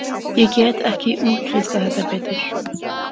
Ég get ekki útlistað þetta betur.